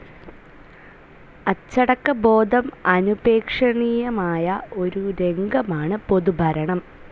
അച്ചടക്കബോധം അനുപേക്ഷണീയമായ ഒരു രംഗമാണ് പൊതുഭരണം.